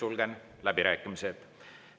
Sulgen läbirääkimised.